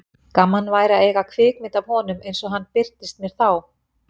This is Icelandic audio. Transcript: Gaman væri að eiga kvikmynd af honum eins og hann birtist mér þá.